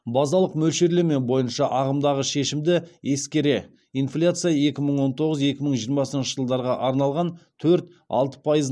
базалық мөлшерлеме бойынша ағымдағы шешімді ескере инфляция екі мың он тоғыз екі мың жиырмасыншы жылдарға арналған төрт алты пайыз нысаналы дәліз шегінде қалыптасады